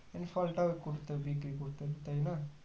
and ফলটা করতে বিক্রি করতে তাইনা